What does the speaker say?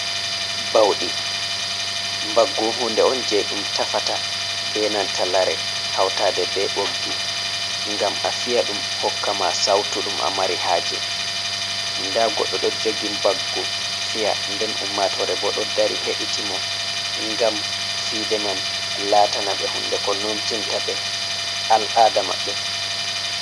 "Bauɗi" mbaggu hunde on je ɗum tafata be nanta lare hautaɗe be ɓoggi ngam a fiya ɗum hokkama sautu ɗum a mari haje nda goɗɗo ɗo jogi mbaggu fiya nden ummatore bo ɗo dari heɗita mo ngam fiɗe man latana be hunde ko nomtinta ɓe al'ada maɓɓe.